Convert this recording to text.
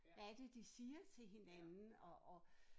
Hvad er det de siger til hinanden og og